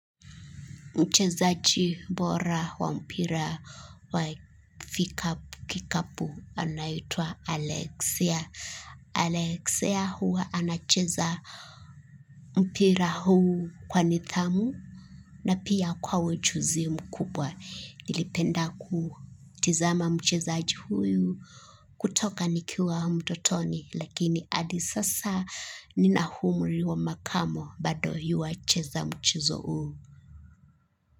Mchezaji bora wa mpira wa kikapu anaitwa Alexia. Alexia huwa anacheza mpira huu kwa nidhamu na pia kwa ujuzi mkubwa. Nilipenda kumtazama mchezaji huyu tangu nilipokuwa mtoto, lakini hadi sasa bado nampenda. Nina umri wa makamo, lakini bado huwa anacheza mchezo huu.